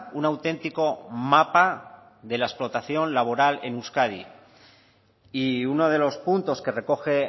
un auténtico mapa de la explotación laboral en euskadi y uno de los puntos que recoge